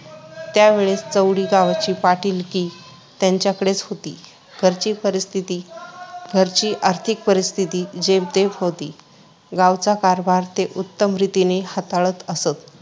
त्या वेळेस चौंडी गावची पाटीलकी त्यांच्याकडेच होती. घरची परिस्थिती, आर्थिक परिस्थिती जेमतेम होती. गावचा कारभार ते उत्तमरीतीने हाताळत असत.